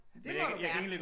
Det må du gerne